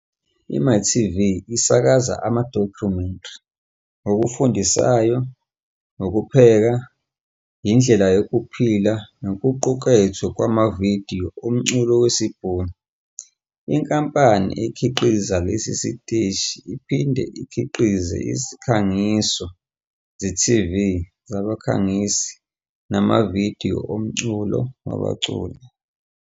IMytv isakaza amadokhumentari, okufundisayo, ukupheka, indlela yokuphila nokuqukethwe kwamavidiyo omculo wesiBhunu. Inkampani ekhiqiza lesi siteshi iphinde ikhiqize izikhangiso ze-TV zabakhangisi namavidiyo omculo wabaculi.